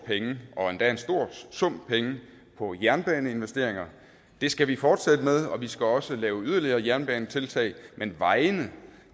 penge og endda en stor sum penge på jernbaneinvesteringer det skal vi fortsætte med og vi skal også lave yderligere jernbanetiltag men vejene